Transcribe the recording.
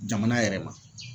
Jamana yɛrɛ ma.